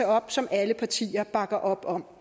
op som alle partier bakker op om